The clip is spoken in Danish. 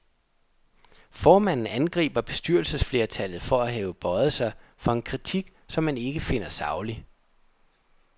Formanden angriber bestyrelsesflertallet for at have bøjet sig for en kritik, som han ikke finder saglig.